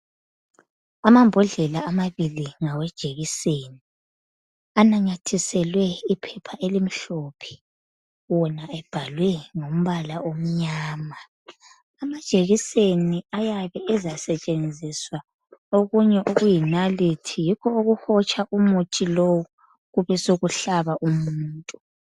Amambodlela amabili ngawejekiseni. Ananyathiselwe iphepha elimhlophe. Wona ebhalwe ngombala omnyama. Amajekiseni ayabe ezasetshenziswa okunye okuyinalithi. Yikho okuhotsha umuthi lowu, Besekuhlaba umuntu.